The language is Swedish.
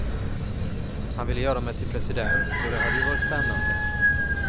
Han ville göra mig till president, och det hade ju varit spännande.